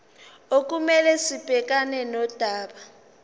okumele sibhekane nodaba